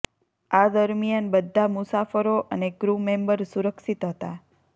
આ દરમિયાન બધા મુસાફરો અને ક્રૂ મેમ્બર સુરક્ષિત હતા